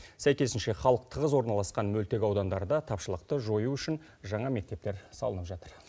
сәйкесінше халық тығыз орналасқан мөлтек аудандарда тапшылықты жою үшін жаңа мектептер салынып жатыр